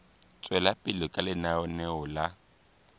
tswela pele ka lenaneo la